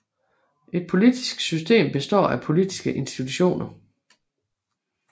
Et politisk system består af politiske institutioner